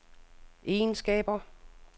egenskaber